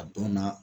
A dɔnna